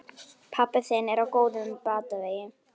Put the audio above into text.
Pabbi þinn er á góðum batavegi.